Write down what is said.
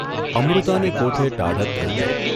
અમૃતાને કોઠે ટાઢક થઇ ગઇ.